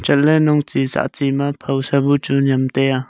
chatley nongchi ma phaw sa bu chu nyemtai ya.